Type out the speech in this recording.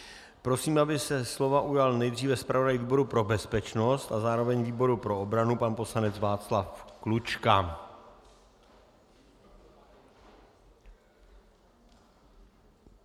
Prosím, aby se slova ujal nejdříve zpravodaj výboru pro bezpečnost a zároveň výboru pro obranu, pan poslanec Václav Klučka.